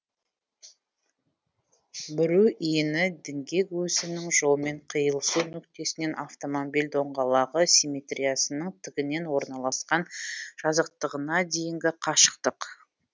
бүру иіні діңгек өсінің жолмен киылысу нүктесінен автомобиль доңғалағы симметриясының тігінен орналасқан жазықтығына дейінгі қашықтық